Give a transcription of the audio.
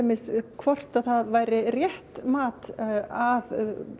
hvort að það væri rétt mat að